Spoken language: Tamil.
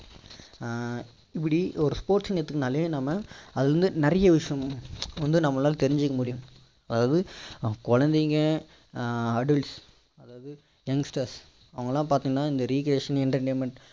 ஆஹ் இப்படி ஒரு sports ன்னு எடுத்துகிட்டாலே நம்ம அதுல வந்து நிறைய விஷயம் வந்து நம்மளால தெரிஞ்சிக்க முடியும் அதாவது குழந்தைங்க ஆஹ் adults அதாவது youngsters அவங்களாம் பார்த்தீங்கன்னா இந்த rereation entertainment